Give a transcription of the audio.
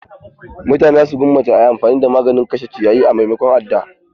Mutane za su gwammace a yi amfani da maganin kashe ciyayi a maimakon adda.